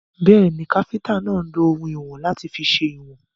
Bẹ́ẹ̀ni, káfíntà náà lọ oùnwọ̀n láti fi sèwọ̀n.